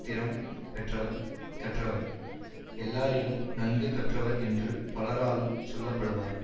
திறம் பெற்றவர் கற்றவர் எல்லாரிலும் நன்கு கற்றவர் என்று பலராலும் சொல்ல படுவார்